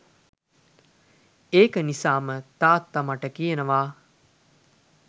ඒක නිසාම තාත්ත මට කියනව